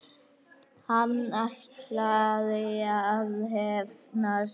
Hann ætlaði að hefna sín!